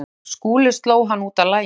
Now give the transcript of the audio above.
ÞORVALDUR: Skúli sló hann út af laginu.